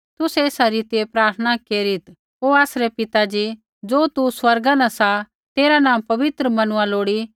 तुसै एसा रीतिऐ प्रार्थना केरीत् ओ आसरै पिता ज़ी ज़ो तू स्वर्गा न सा तेरा नाँ पवित्र मनुआ लोड़ी